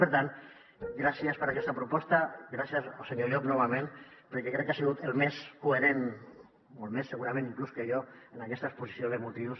per tant gràcies per aquesta proposta gràcies al senyor llop novament perquè crec que ha sigut el més coherent molt més segurament inclús que jo en aquesta exposició de motius